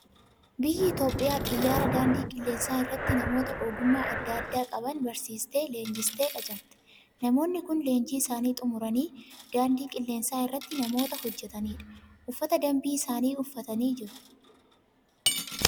Biyyi Itoophiyaa xiyyaara daandii qilleensaa irratti namoota ogummaa adda addaa qaban barsiistee, leenjistee qacarti. Namoonni kun leenjii isaanii xumuranii, daandii qilleensaa irratti namoota hojjetani dha. Uffata dambii isaanii uffatanii jiru.